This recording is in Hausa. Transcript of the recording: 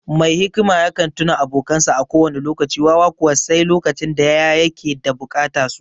Mai hikima yakan tuna abokansa a kowane lokaci; wawa kuwa, sai lokacin da ya yake da bukata su.